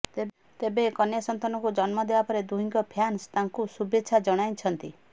ତେବେ କନ୍ୟା ସନ୍ତାନକୁ ଜନ୍ମ ଦେବା ପରେ ଦୁହିଁଙ୍କ ଫ୍ୟାନ୍ସ ତାଙ୍କୁ ଶୁଭେଚ୍ଛା ଜଣାଇଛନ୍ତି